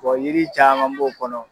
Tubabu yiri caman b'o kɔnɔ.